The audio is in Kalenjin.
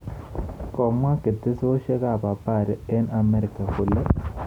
Komwa ketesyosek ab habari eng amerika kole